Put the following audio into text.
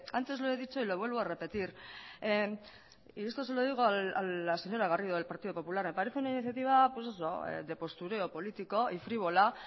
antes lo he dicho y lo vuelvo a repetir y esto se lo digo a la señora garrido del partido popular me parece una iniciativa pues eso de postureo político y frívola